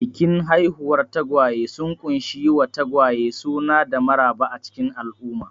Bikin haihuwar tagwaye sun ƙunshi yi wa tagwaye suna da maraba a cikin al'umma.